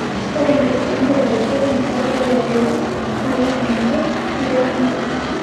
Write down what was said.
Ore nkipindini e telefisheni naitodolu endedei naa keiting ake meitekini.